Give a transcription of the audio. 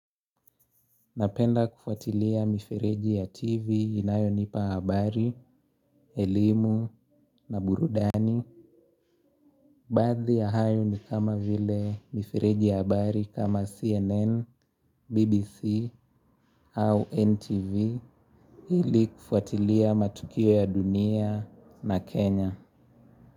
Napenda kufuatilia mifereji ya TV inayonipa habari, elimu na burudani. Baadhi ya hayo ni kama vile mifereji ya habari kama CNN, BBC au NTV ili kufuatilia matukio ya dunia na Kenya.